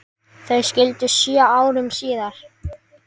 Þau skildu sjö árum síðar.